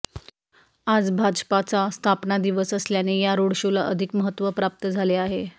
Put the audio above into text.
आज भाजपाचा स्थापना दिवस असल्याने या रोड शोला अधिक महत्त्व प्राप्त झाले आहे